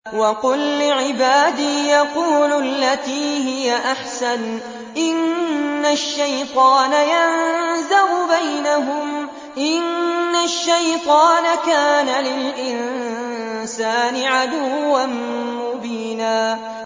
وَقُل لِّعِبَادِي يَقُولُوا الَّتِي هِيَ أَحْسَنُ ۚ إِنَّ الشَّيْطَانَ يَنزَغُ بَيْنَهُمْ ۚ إِنَّ الشَّيْطَانَ كَانَ لِلْإِنسَانِ عَدُوًّا مُّبِينًا